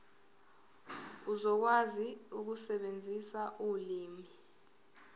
uzokwazi ukusebenzisa ulimi